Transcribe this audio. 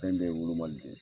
Fɛn bɛɛ ye wolomali